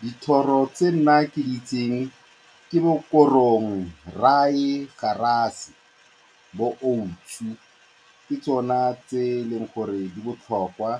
Dithoro tse nna ke di itseng ke bokorong, bo-Oats-u, ke tsona tse e leng gore di botlhokwa